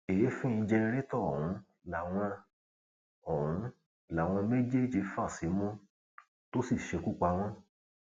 èéfín jẹrántó ọhún làwọn ọhún làwọn méjèèjì fà símú tó sì ṣekú pa wọn